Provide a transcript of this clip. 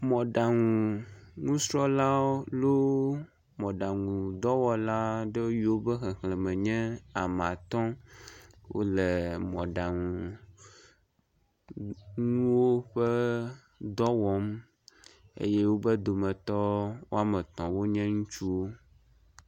Mɔɖaŋu ŋusrɔ̃lawo loo mɔɖaŋudɔwɔla ɖewo be xexleme nye ame atɔ wo le mɔɖaŋu ŋuwo ƒe dɔ wɔm eye wobe dometɔ wɔme etɔ̃ wonye ŋutsuwo.